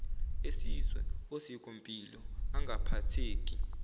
esizwe osikompilo angaphatheki